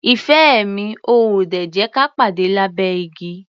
Ìfẹ́ mi, o ò ò dè jẹ́ ka pàde lábẹ́ igi?